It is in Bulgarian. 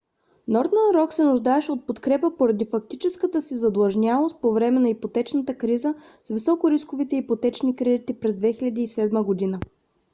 northern rock се нуждаеше от подкрепа поради фактическата си задлъжнялост по време на ипотечната криза с високорисковите ипотечни кредити през 2007 г